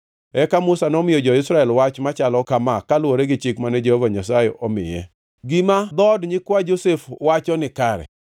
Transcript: Eka Musa nomiyo jo-Israel wach machalo kama kaluwore gi chik mane Jehova Nyasaye omiye: “Gima dhood nyikwa Josef wacho nikare.